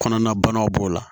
Kɔnɔna banaw b'o la